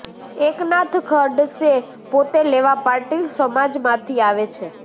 એકનાથ ખડસે પોતે લેવા પાટીલ સમાજમાંથી આવે છે